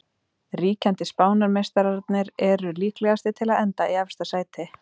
Ríkjandi Spánarmeistararnir eru líklegastir til að enda í efsta sæti.